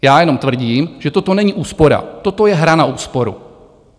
Já jenom tvrdím, že toto není úspora, toto je hra na úsporu.